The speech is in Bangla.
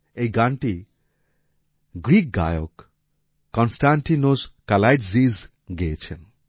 এই গানটি গ্রীক গায়ক কনস্টান্টিনোস কালাইতজিস গেয়েছেন